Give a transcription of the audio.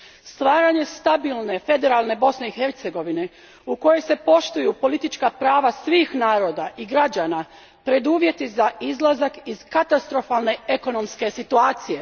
Stvaranje stabilne federalne Bosne i Hercegovine u kojoj se poštuju politička prava svih naroda i građana preduvjet je za izlazak iz katastrofalne ekonomske situacije.